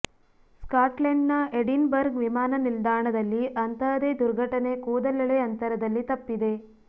ಸ್ಕಾಟ್ಲೆಂಡ್ನ Edinburgh ವಿಮಾನ ನಿಲ್ದಾಣದಲ್ಲಿ ಅಂತಹದೇ ದುರ್ಘಟನೆ ಕೂದಲೆಳೆ ಅಂತರದಲ್ಲಿ ತಪ್ಪಿದೆ